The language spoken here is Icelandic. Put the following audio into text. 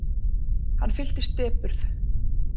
Hann fylltist depurð.